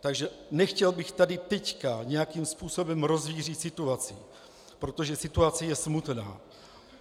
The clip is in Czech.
Takže nechtěl bych tady teď nějakým způsobem rozvířit situaci, protože situace je smutná.